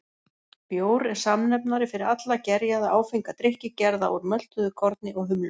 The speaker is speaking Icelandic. Bjór er samnefnari fyrir alla gerjaða, áfenga drykki gerða úr möltuðu korni og humlum.